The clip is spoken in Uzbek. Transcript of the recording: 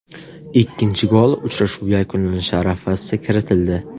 Ikkinchi gol uchrashuv yakunlanishi arafasida kiritildi.